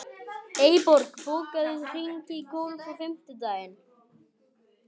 Eyborg, bókaðu hring í golf á fimmtudaginn.